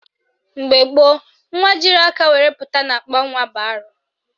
Mgbe gboo, nwa jiri aka were pụta n'akpanwa bụ arụ